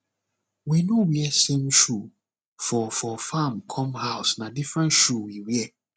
we no wear same shoe for for farm come house na different shoe we wear